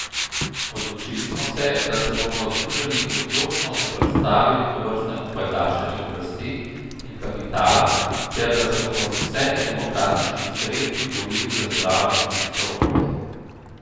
Odločili smo se, da se bomo združeni odločno zoperstavili tovrstnemu pajdašenju oblasti in kapitala ter da se bomo z vsemi demokratičnimi sredstvi borili za zdravo in čisto okolje.